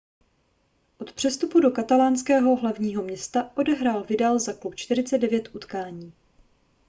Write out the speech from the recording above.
od přestupu do katalánského hlavního města odehrál vidal za klub 49 utkání